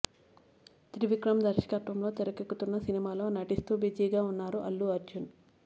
త్రివిక్రమ్ దర్శకత్వంలో తెరకెక్కుతున్న సినిమాలో నటిస్తూ బిజీగా ఉన్నారు అల్లు అర్జున్